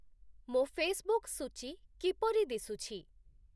ମୋ ଫେସବୁକ ସୂଚୀ କିପରି ଦିଶୁଛି?